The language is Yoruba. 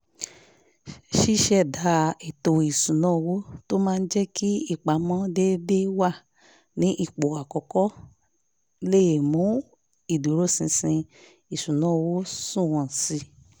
ṣíṣẹ̀dá ètò ìṣúnná owó tó máa jẹ́ kí ìpamọ́ déédéé wà ní ipò àkọ́kọ́ lè mú ìdúróṣinṣin ìṣúnná owó sunwọ̀n sí i